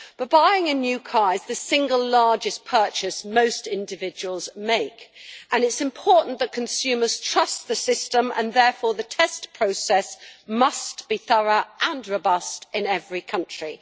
Buying a new car is the single largest purchase most individuals make and it is important that consumers trust the system and therefore the test process must be thorough and robust in every country.